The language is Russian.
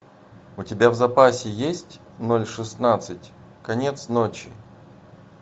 у тебя в запасе есть ноль шестнадцать конец ночи